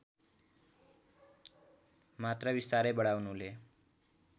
मात्रा बिस्तारै बढाउनुले